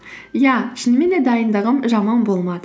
иә шынымен де дайындығым жаман болмады